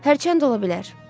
Hərçənd ola bilər.